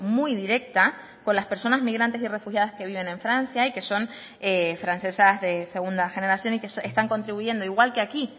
muy directa con las personas migrantes y refugiadas que viven en francia y que son francesas de segunda generación y que están contribuyendo igual que aquí